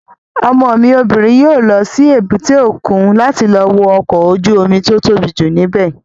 Ọmọ mi obìnrin yóò lọ sí èbúté òkun láti lọ wo ọkọ̀ ojú-omi tó tóbi jù ní bẹ̀